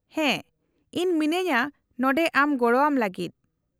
-ᱦᱮᱸ, ᱤᱧ ᱢᱤᱱᱟᱹᱧᱟᱹ ᱱᱚᱸᱰᱮ ᱟᱢ ᱜᱚᱲᱚᱣᱟᱢ ᱞᱟᱹᱜᱤᱫ ᱾